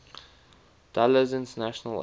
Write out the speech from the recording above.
dulles international airport